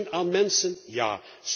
Steun aan mensen ja.